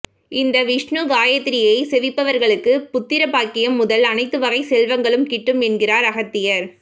இந்த விஷ்ணு காயத்ரியை செபிப்பவர்களுக்கு புத்திர பாக்கியம் முதல் அனைத்துவகை செல்வங்களும் கிட்டும் என்கிறார் அகத்தியர்